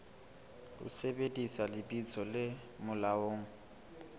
ho sebedisa lebitso le molaong